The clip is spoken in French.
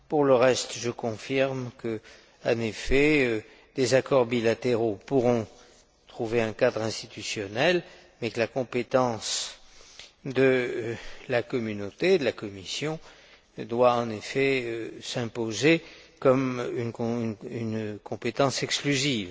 Pour le reste, je confirme que, en effet, des accords bilatéraux pourront trouver un cadre institutionnel, mais que la compétence de la Communauté, de la Commission, doit effectivement s'imposer, comme une compétence exclusive.